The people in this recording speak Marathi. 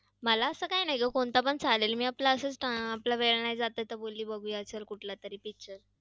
मला असं काही नाही ग, कोणता पण चालेल, मी आपलं असंच आपला वेळ नाही जात तर बोलली बघूया, चल picture.